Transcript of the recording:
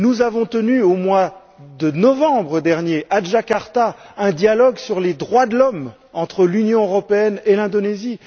Nous avons tenu au mois de novembre dernier, à Djakarta, un dialogue sur les droits de l'homme entre l'Union européenne et l'Indonésie.